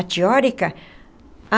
A teórica, a...